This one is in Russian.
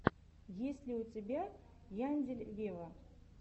есть ли у тебя яндель вево